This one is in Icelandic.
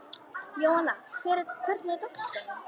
Jóanna, hvernig er dagskráin?